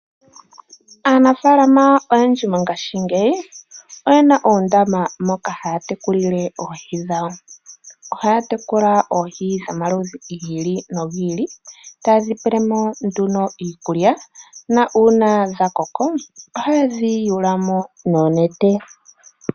Aanafaalama oyendji mongaashingeyi oyena oondama moka haya tekulili oohi dhawo. Ohaya tekula oohi dhomaludhi gi ili nogi ili taye dhi pelemo nduno iikulya na una dhakoko ohaye dhi yula mo noonete.